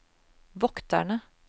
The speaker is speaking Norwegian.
vokterne